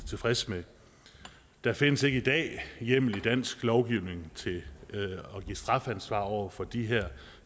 tilfreds med der findes ikke i dag hjemmel i dansk lovgivning til at give strafansvar over for de her